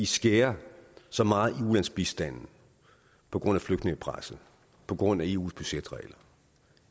skærer så meget i ulandsbistanden på grund af flygtningepresset på grund af eus budgetregler og